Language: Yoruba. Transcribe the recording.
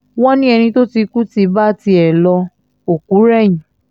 wọ́n ní ẹni tó ti kú ti bá tiẹ̀ lo òkú rẹ̀yìn